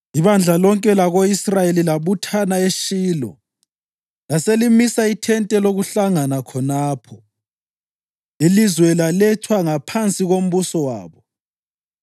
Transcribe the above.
Ibandla lonke lako-Israyeli labuthana eShilo laselimisa ithente lokuhlangana khonapho. Ilizwe lalethwa ngaphansi kombuso wabo,